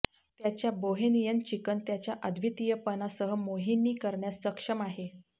त्याच्या bohemian chicken त्याच्या अद्वितीयपणा सह मोहिनी करण्यास सक्षम आहे